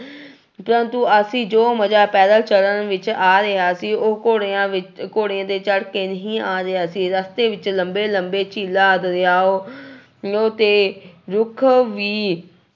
ਪ੍ਰੰਤੂ ਅਸੀਂ ਜੋ ਮਜ਼ਾ ਪੈਦਲ ਚੱਲਣ ਵਿੱਚ ਆ ਰਿਹਾ ਸੀ, ਉਹ ਘੋੜਿਆਂ ਵਿੱਚ ਘੋੜੇ ਤੇ ਚੜ੍ਹ ਕੇ ਨਹੀਂ ਆ ਰਿਹਾ ਸੀ ਰਸਤੇ ਵਿੱਚ ਲੰਬੇ ਲੰਬੇ ਝੀਲਾਂ ਦਰਿਆਓ ਤੇ ਰੁੱਖ ਵੀ